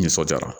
Nisɔndiyara